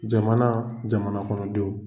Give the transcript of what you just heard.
Jamana jamana kɔnɔdenw.